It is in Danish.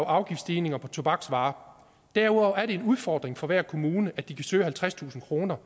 afgiftsstigninger på tobaksvarer derudover er det en udfordring for hver kommune at de kan søge halvtredstusind kroner